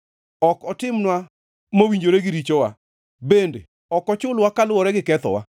ok otimnwa mowinjore gi richowa bende ok ochulwa kaluwore gi kethowa.